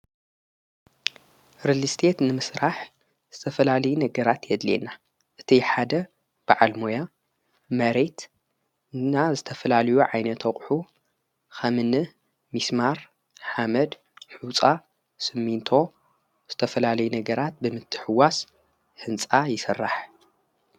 ርልስት ንምስራሕ ዝተፈላሌይ ነገራት የድልየና እቲ ሓደ በዓል ሞያ መሬት እና ዝተፈላልዩ ዓይነተቕሑ ኸምኒ ሚስማር ሓመድ ሕፃ ስሚንቶ ዝተፈላለይ ነገራት ብምትሕዋስ ሕንፃ ይሠራሕ::